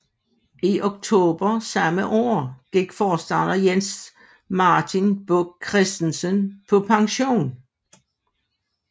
I oktober samme år gik forstander Jens Martin Buch Kristensen på pension